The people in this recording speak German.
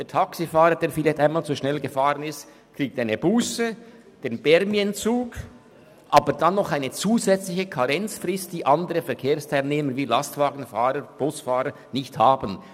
Der Taxifahrer, der vielleicht einmal zu schnell gefahren ist, kriegt eine Busse, einen «Permis»-Entzug, und dann noch eine zusätzliche Karenzfrist, welcher andere Verkehrsteilnehmer wie Lastwagen- und Busfahrer nicht unterstehen.